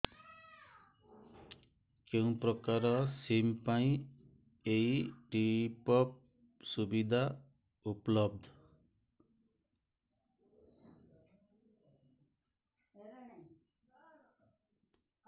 କେଉଁ ପ୍ରକାର ସିମ୍ ପାଇଁ ଏଇ ଟପ୍ଅପ୍ ସୁବିଧା ଉପଲବ୍ଧ